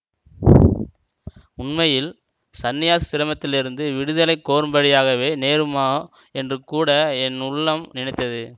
உண்மையில் சந்நியாஸாசிரமத்திலிருந்து விடுதலை கோரும்படியாகவே நேருமோ என்று கூட என் உள்ளம் நினைத்தது